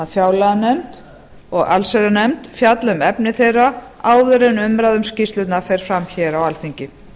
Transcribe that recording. fjárlaganefnd og allsherjarnefnd fjalli um efni þeirra áður en umræða um skýrslurnar fer fram á alþingi